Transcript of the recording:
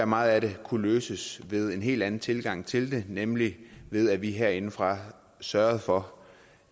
meget af det kunne løses ved en helt anden tilgang til det nemlig ved at vi herindefra sørgede for